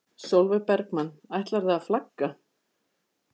Sólveig Bergmann: Ætlarðu að flagga?